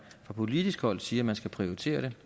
fra politisk hold siger at man skal prioritere det